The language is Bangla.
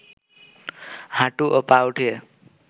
হাঁটু ও পা উঠিয়ে